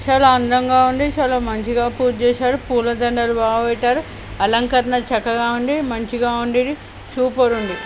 చాలా అంధంగా ఉంది చాలా మంచిగా పూజ చేసాడు పూల దండలు భాగా పెట్టారు అలంకరణ చక్కగా ఉంది మంచిగా ఉండి ఇది సూపర్ ఉంది.